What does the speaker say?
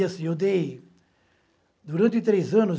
e assim eu dei, durante tres anos